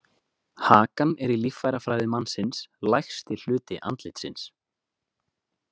Hakan er í líffærafræði mannsins lægsti hluti andlitsins.